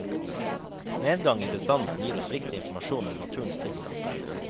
Nedgang i bestanden gir oss viktig informasjon om naturens tilstand.